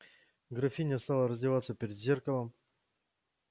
графиня стала раздеваться перед зеркалом